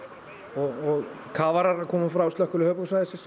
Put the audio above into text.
og kafarar eru að koma frá slökkviliði